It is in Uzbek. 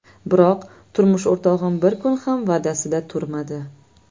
Biroq turmush o‘rtog‘im bir kun ham va’dasida turmadi.